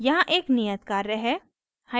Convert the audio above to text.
यहाँ एक नियत कार्य है